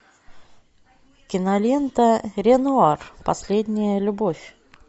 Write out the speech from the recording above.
кинолента ренуар последняя любовь